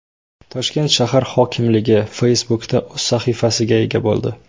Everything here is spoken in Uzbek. Toshkent shahar hokimligi Facebook’da o‘z sahifasiga ega bo‘ldi .